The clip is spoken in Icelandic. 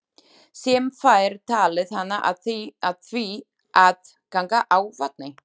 Sem fær talið hana af því að ganga á vatni.